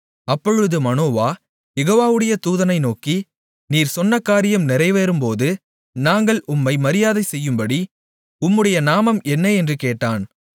அப்பொழுது மனோவா யெகோவாவுடைய தூதனை நோக்கி நீர் சொன்ன காரியம் நிறைவேறும்போது நாங்கள் உம்மை மரியாதை செய்யும்படி உம்முடைய நாமம் என்ன என்று கேட்டான்